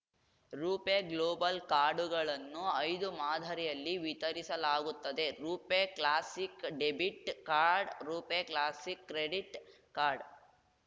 ರೂಪೆ global ಕಾರ್ಡುಗಳನ್ನು ಐದು ಮಾದರಿಯಲ್ಲಿ ವಿತರಿಸಲಾಗುತ್ತದೆ RuPay classic debit card RuPay classic credit card